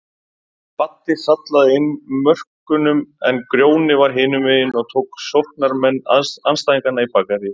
Baddi sallaði inn mörkunum en Grjóni var hinumegin og tók sóknarmenn andstæðinganna í bakaríið.